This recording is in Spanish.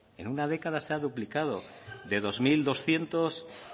en una década se ha duplicado de dos mil doscientos